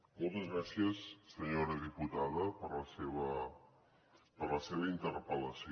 moltes gràcies senyora diputada per la seva interpellació